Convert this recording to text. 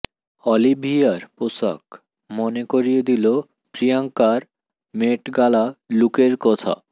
Olivier পোশাক মনে করিয়ে দিল প্রিয়ঙ্কার মেট গালা লুকের কথা